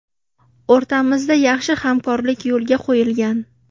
O‘rtamizda yaxshi hamkorlik yo‘lga qo‘yilgan.